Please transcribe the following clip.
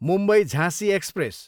मुम्बई, झाँसी एक्सप्रेस